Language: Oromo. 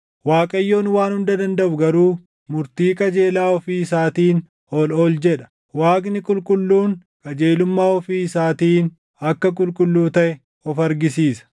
Waaqayyoon Waan Hunda Dandaʼu garuu murtii qajeelaa ofii isaatiin ol ol jedha; Waaqni qulqulluun qajeelummaa ofii isaatiin akka qulqulluu taʼe of argisiisa.